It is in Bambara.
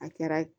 A kɛra